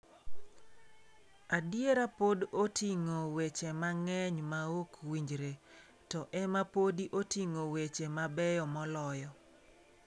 Adiera pod oting'o weche mang'eny maok winjre, to ema podi oting'o weche mabeyo moloyo.